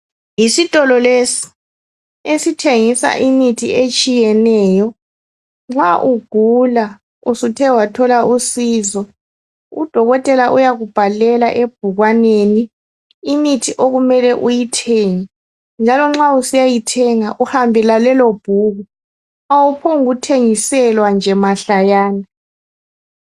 Isitolo lesi esithengisa imithi etshiyeneyo nxa ugula usuthe wathola usizo udokotela uyakubhalela ebhukwaneni imithi okumele uyithenge njalo nxa usiyayithenga uhamba lalelo ibhuku awuphongu thengiselwa nje mahlayana.